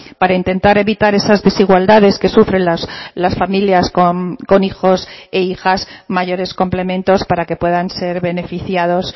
para intentar evitar esas desigualdades que sufren las familias con hijos e hijas mayores complementos para que puedan ser beneficiados